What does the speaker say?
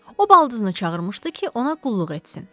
O baldızını çağırmışdı ki, ona qulluq etsin.